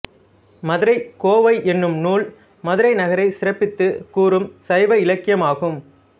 மதுரைக் கோவை எனும் நூல் மதுரை நகரை சிறப்பித்துக் கூறும் சைவ இலக்கியமாகும்